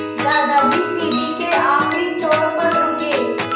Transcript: दादाजी सीढ़ी के आखिरी छोर पर रुके